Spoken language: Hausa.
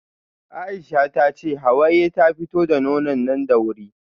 Aisha tace Hawaye ta fito da nonon nan da wuri